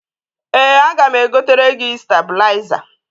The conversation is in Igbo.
Ee, aga m egotere gi stabụlaịza.